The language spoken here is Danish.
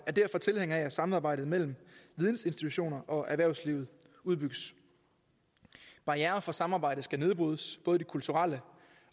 er derfor tilhængere af at samarbejdet mellem vidensinstitutioner og erhvervsliv udbygges barrierer for samarbejde skal nedbrydes både de kulturelle